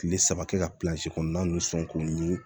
Kile saba kɛ ka kɔnɔna nun sɔn k'u ɲi